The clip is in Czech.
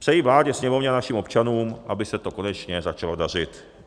Přeji vládě, sněmovně a našim občanům, aby se to konečně začalo dařit.